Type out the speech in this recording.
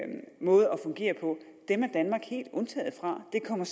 fungere på er danmark helt undtaget fra de kommer